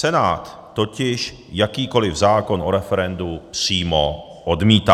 Senát totiž jakýkoliv zákon o referendu přímo odmítá.